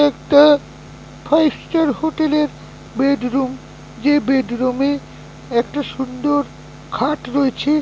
দেখতে five star হোটেলের bedroom. যে বেডরুম - এ একটা সুন্দর খাট রয়েছে ।